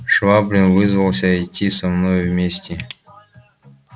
швабрин вызвался идти со мною вместе